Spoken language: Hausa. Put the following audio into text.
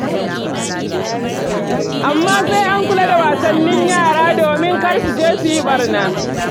Amma sai an kula da wasannin yara domin kar su je su yi ɓarna.